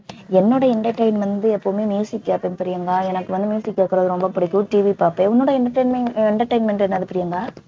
என்னோட entertainment வந்து எப்பையுமே கேட்பேன் பிரியங்கா எனக்கு வந்து கேக்கறது ரொம்ப புடிக்கும் TV பாப்பேன் உன்னோட entertainment entertainment என்னது பிரியங்கா